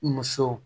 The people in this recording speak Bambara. Muso